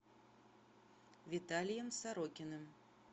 виталием сорокиным